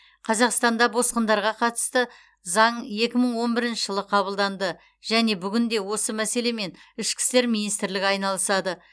қазақстанда босқындарға қатысты заң екі мың он бірінші жылы қабылданды және бүгінде осы мәселемен ішкі істер министрлігі айналысады